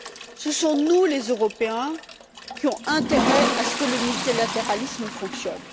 C'est nous, Européens, qui avons intérêt à ce que le multilatéralisme fonctionne.